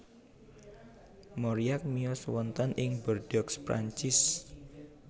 Mauriac miyos wonten ing Bordeaux Prancis